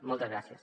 moltes gràcies